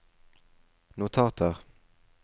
notater